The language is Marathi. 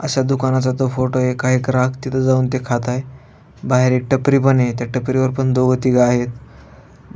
अशा दुकानाचा तो फोटो ये काय ग्रहाक तिथ जाऊन ते खात आहे. बाहेर एक टपरी पण य त्या टपरी वर पण दोघ तीघ आहेत.